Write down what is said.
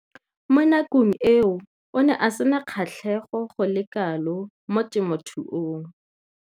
Mo nakong eo o ne a sena kgatlhego go le kalo mo temothuong.